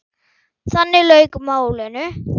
Þannig lauk málinu.